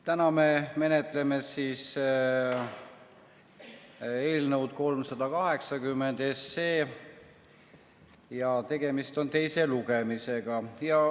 Täna me menetleme eelnõu 380 ja tegemist on selle teise lugemisega.